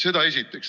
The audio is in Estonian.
Seda esiteks.